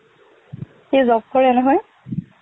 সি job কৰে নহয়